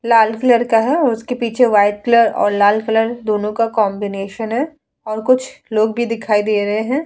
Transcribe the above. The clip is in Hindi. लाल कलर का है और उसके पीछे वाइट कलर और लाल कलर दोनों का कॉन्बिनेशन है और कुछ लोग भी दिखाई दे रहे हैं।